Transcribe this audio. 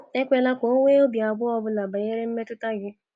Ekwela ka o nwee obi abụọ ọ bụla banyere mmetụta gị.